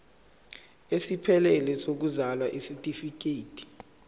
esiphelele sokuzalwa isitifikedi